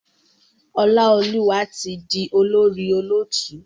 Olaoluwa tí dì olórí olóòtú.